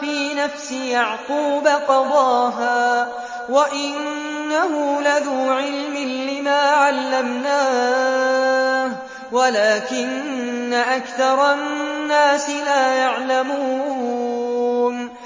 فِي نَفْسِ يَعْقُوبَ قَضَاهَا ۚ وَإِنَّهُ لَذُو عِلْمٍ لِّمَا عَلَّمْنَاهُ وَلَٰكِنَّ أَكْثَرَ النَّاسِ لَا يَعْلَمُونَ